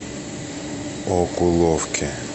окуловки